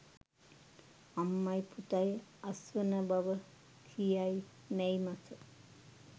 අම්මයි පුතයි අස්වන බව කියයි මැයි මස